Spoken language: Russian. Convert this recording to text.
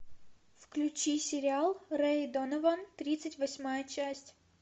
включи сериал рэй донован тридцать восьмая часть